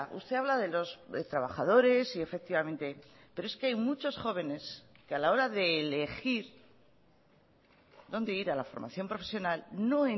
usted habla de los trabajadores y efectivamente pero es que hay muchos jóvenes que a la hora de elegir dónde ir a la formación profesional no